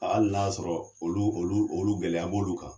Hali na y'a sɔrɔ olu olu olu gɛlɛya b'olu kan.